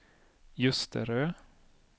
Ljusterö